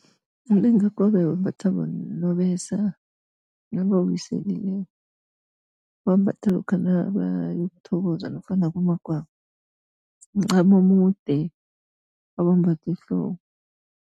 Umlingakobe wembatha bonobesa nabawiselileko. Bawumbatha lokha nabayokuthokoza lokha nakumagwabo, mncamo omude abawumbatha ehloko.